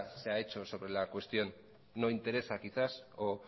se ha hecho sobre la cuestión no interesa quizá o